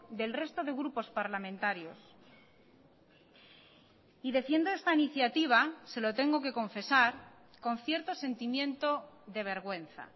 del resto de grupos parlamentarios y defiendo esta iniciativa se lo tengo que confesar con cierto sentimiento de vergüenza